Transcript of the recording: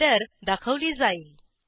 error दाखवली जाईल